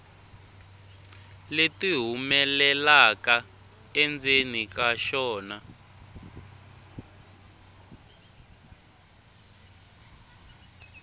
leti humelelaka endzeni ka xona